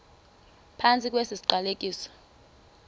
phantsi kwesi siqalekiso